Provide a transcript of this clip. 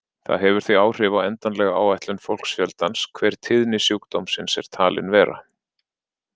Það hefur því áhrif á endanlega áætlun fólksfjöldans hver tíðni sjúkdómsins er talin vera.